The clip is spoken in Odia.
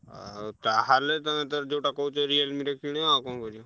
ଆଉ ତାହେଲେ ତମେ ତାହେଲେ ଯୋଉଟା କହୁଛ Realme ର କିଣ ଆଉ କଣ କରିଆ?